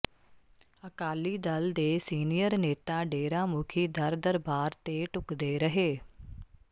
ਅਕਾਲੀ ਦਲ ਦੇ ਸੀਨੀਅਰ ਨੇਤਾ ਡੇਰਾ ਮੁਖੀ ਦਰ ਦਰਬਾਰ ਤੇ ਟੁੱਕਦੇ ਰਹੇ